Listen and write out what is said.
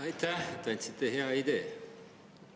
Aitäh, te andsite hea idee!